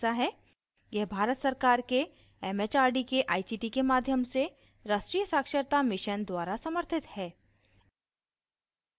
यह भारत सरकार के it it आर डी के आई सी टी के माध्यम से राष्ट्रीय साक्षरता mission द्वारा समर्थित है